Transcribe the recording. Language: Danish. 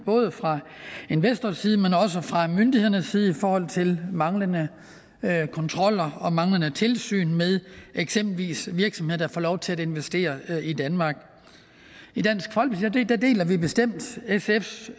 både fra investors side men også fra myndighedernes side i forhold til manglende kontroller og manglende tilsyn med eksempelvis virksomheder der får lov til at investere i danmark i dansk folkeparti deler vi bestemt sfs